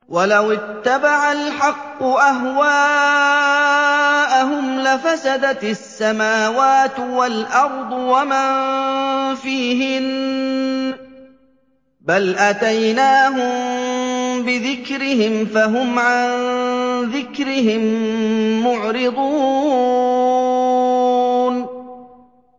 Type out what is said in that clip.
وَلَوِ اتَّبَعَ الْحَقُّ أَهْوَاءَهُمْ لَفَسَدَتِ السَّمَاوَاتُ وَالْأَرْضُ وَمَن فِيهِنَّ ۚ بَلْ أَتَيْنَاهُم بِذِكْرِهِمْ فَهُمْ عَن ذِكْرِهِم مُّعْرِضُونَ